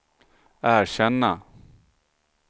erkänna